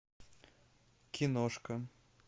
киношка